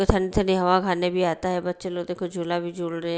सनसनी हवा खाने भी आता है बच्चे लोग देखो झूला भी झूल रहे है।